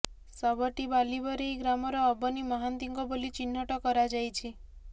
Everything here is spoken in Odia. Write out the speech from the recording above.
ଶବଟି ବାଲିବରେଇ ଗ୍ରାମର ଅବନୀ ମହାନ୍ତିଙ୍କ ବୋଲି ଚିହ୍ନଟ କରାଯାଇଛି